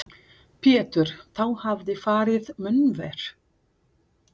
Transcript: Pétur: Þá hefði farið mun verr?